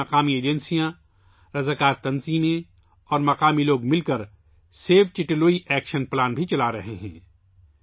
اس کے لیے مقامی ایجنسیاں، رضاکار تنظیمیں اور مقامی لوگ مل کر سیو چٹے لوئی ایکشن پلان بھی چلا رہے ہیں